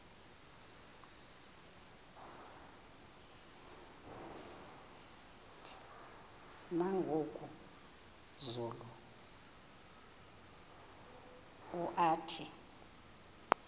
nangoku zulu uauthi